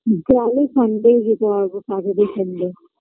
গেলে sunday -এই যেতে হবে saturday sunday